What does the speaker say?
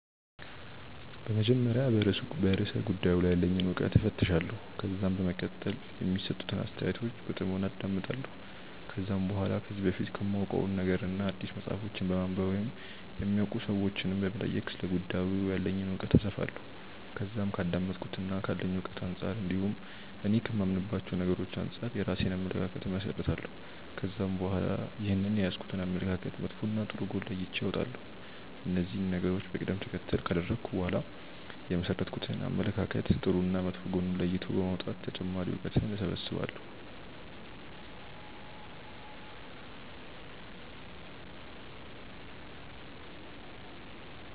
በመጀመሪያ በርእሰ ጉዳዩ ላይ ያለኝን እውቀት እፈትሻለሁ። ከዛም በመቀጠል የሚሰጡትን አስተያየቶች በጥሞና አዳምጣለሁ። ከዛም በኋላ ከዚህ በፊት ከማውቀው ነገርና አዲስ መጽሐፎችን በማንበብ ወይም የሚያውቁ ሰዎችንም በመጠየቅ ስለ ጉዳዩ ያለኝን እውቀት አሰፋለሁ። ከዛም ከአዳመጥኩትና ካለኝ እውቀት አንጻር እንዲሁም እኔ ከማምንባቸው ነገሮች አንጻር የራሴን አመለካከት እመሠረታለሁ። ከዛም በኋላ ይህንን የያዝኩትን አመለካከት መጥፎና ጥሩ ጎን ለይቼ አወጣለሁ። እነዚህን ነገሮች በቀደም ተከተል ካደረኩ በኋላ የመሠረትኩትን አመለካከት ጥሩና መጥፎ ጎን ለይቶ በማውጣት ተጨማሪ እውቀትን እሰበስባለሁ።